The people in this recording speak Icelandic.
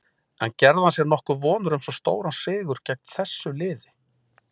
En gerði hann sér nokkuð vonir um svo stóran sigur gegn þessu liði?